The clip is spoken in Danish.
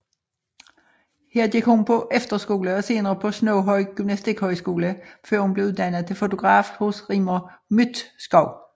Her gik hun på efterskole og senere på Snoghøj Gymnastikhøjskole før hun blev uddannet til fotograf hos Rigmor Mydtskov